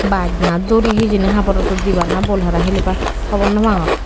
bach na duri hijeni habor rodot debaar naa boll hara hilibaar hobor noo pangor.